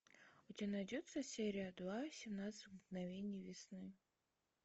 у тебя найдется серия два семнадцать мгновений весны